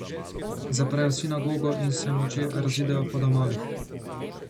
Zaprejo sinagogo in se molče razidejo po domovih.